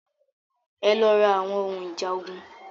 Ẹ lọ ra àwọn ohun ìjà ogun.